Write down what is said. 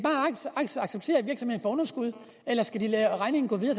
virksomhed underskud eller skal de lade regningen gå videre